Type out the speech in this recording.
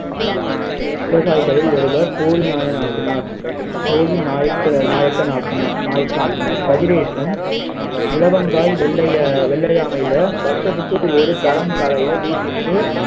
விவசாயிகளில் ஒருவர் போடிநாயநாக்கனார் போடிநாயக்க நாயக்கனார் நாயக்க நாயக்கநாக்கினார் கதிரேசன் இலவங்காய் வெள்ளை வெள்ளையாணையில வருஷத்துக்கு ஒரு தரம் காலையில